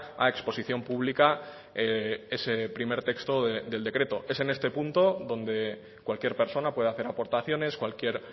a exposición pública ese primer texto del decreto es en este punto donde cualquier persona puede hacer aportaciones cualquier